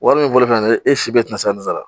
Wari min fɔlen filɛ nin ye e si bɛ na se ka nin sara